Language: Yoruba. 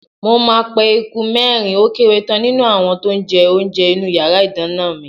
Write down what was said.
Mo máa pe eku mẹ́rin ó kéré tán nínú àwọn tó ń jẹ oúnjẹ inú yàrá ìdáná mi.